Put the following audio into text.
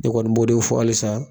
Ne kɔni b'o de fɔ hali san.